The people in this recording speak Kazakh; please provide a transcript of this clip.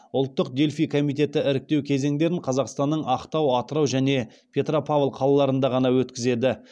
ұлттық дельфий комитеті іріктеу кезеңдерін қазақстанның ақтау атырау және петропавл қалаларында ғана өткізеді